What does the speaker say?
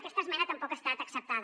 aquesta esmena tampoc ha estat acceptada